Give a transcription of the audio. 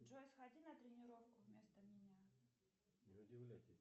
джой сходи на тренировку вместо меня